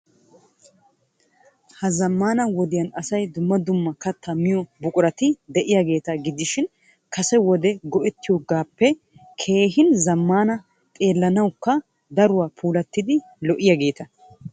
Ha zammana wodiyaan asay dumma dumma kattaa miyo buqurati de'iyaageeta gidishin kase wode go"ettiyoogappe keehin zammananne xeelanawukka daruwaa puulatiddi lo"iyaageeta.